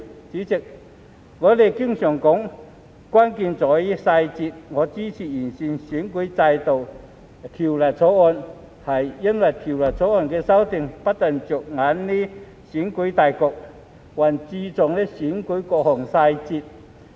主席，我們經常說"關鍵在於細節"，我支持《條例草案》，因為《條例草案》的修訂不單着眼於選舉大局，還注重選舉的各項細節。